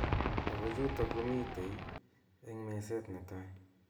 Ako chutok komitei eng meset netai .